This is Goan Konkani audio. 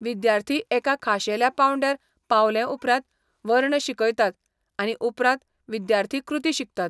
विद्यार्थी एका खाशेल्या पांवड्यार पावलेउपरांत वर्ण शिकयतात आनी उपरांत विद्यार्थी कृती शिकतात.